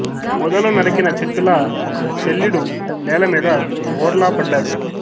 మొదలు నరికిన చెట్టులా శల్యుడు నేల మీద బోర్లా పడ్డాడు